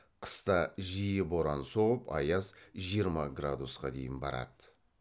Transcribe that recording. қыста жиі боран соғып аяз жиырма градусқа дейін барады